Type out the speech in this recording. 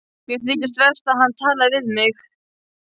Mér þykir verst að hann talaði við mig.